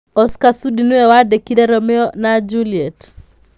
Oscar Sudi nĩ we waandĩkire Romeo na Juliet.